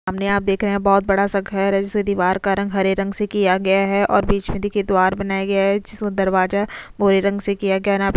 सामने आप देख रहे हैं बहुत बड़ा सा घर है जिसे दीवार का रंग हरे रंग से किया गया है और बीच में देखिए द्वार बनाया गया है दरवाजा रंग से किया गया नाप --